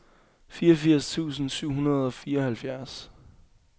fireogfirs tusind syv hundrede og fireoghalvfjerds